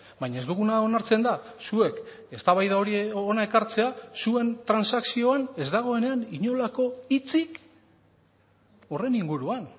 baina ez duguna onartzen da zuek eztabaida hori hona ekartzea zuen transakzioan ez dagoenean inolako hitzik horren inguruan